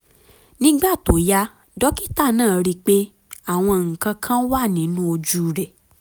nígbà tó yá dókítà náà ríi pé àwọn nǹkan kan wà nínú ojú rẹ̀